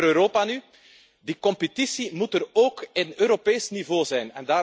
Over Europa nu. Die competitie moet er ook op Europees niveau zijn.